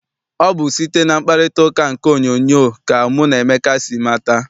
Ọ bụ site na mkparitauka nke onyoonyo ka mụ na Emeka si mata.